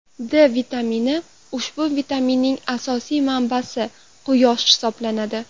D vitamini Ushbu vitaminning asosiy manbasi quyosh hisoblanadi.